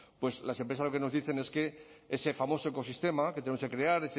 pues las empresas lo que nos dicen es que ese famoso ecosistema que tenemos que crear